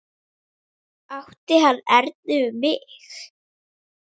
Átti hann erindi við mig?